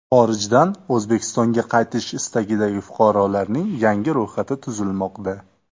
Xorijdan O‘zbekistonga qaytish istagidagi fuqarolarning yangi ro‘yxati tuzilmoqda.